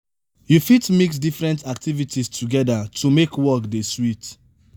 you fit mix different activities together to make work dey sweet